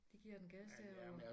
De giver den gas dernede